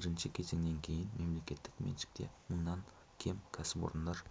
бірінші кезеңнен кейін мемлекеттік меншікте мыңнан кем кәсіпорындар